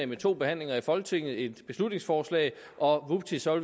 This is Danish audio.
med to behandlinger i folketinget kunne vedtage et beslutningsforslag og vupti så